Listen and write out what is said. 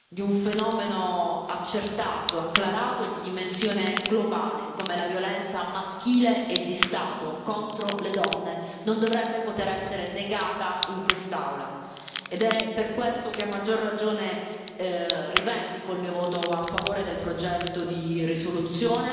di un fenomeno accertato, acclarato e di dimensione globale, come la violenza maschile e di Stato contro le donne, non dovrebbe poter essere negata in quest'Aula, ed è per questo che, a maggior ragione, rivendico il mio voto a favore del progetto di risoluzione.